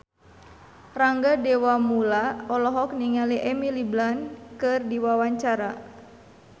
Rangga Dewamoela olohok ningali Emily Blunt keur diwawancara